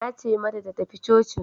Nace mata ta tafi cocin